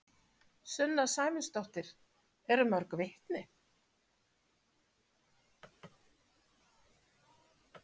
Sunna Sæmundsdóttir: Eru mörg vitni?